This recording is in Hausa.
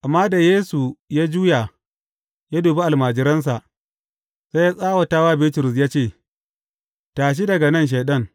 Amma da Yesu ya juya ya dubi almajiransa, sai ya tsawata wa Bitrus ya ce, Tashi daga nan Shaiɗan!